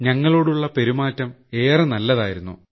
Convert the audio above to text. ഞങ്ങളോടുള്ള പെരുമാറ്റം ഏറെ നല്ലതായിരുന്നു